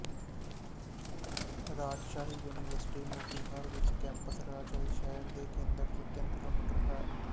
ਰਾਜਸ਼ਾਹੀ university Motihar ਵਿੱਚ campus Rajshahi ਸ਼ਹਿਰ ਦੇ ਕੇਂਦਰ ਤੋਂ ਤਿੰਨ ਕਿਲੋਮੀਟਰਤੱਕ ਹੈ